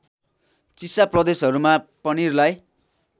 चिसा प्रदेशहरूमा पनिरलाई